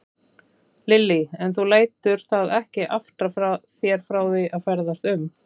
Lillý: En þú lætur það ekki aftra þér frá því að ferðast um?